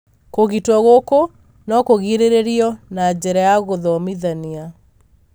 kũgitwo gũkũ no kũgirĩrĩrio na njĩra ya gũthomithania.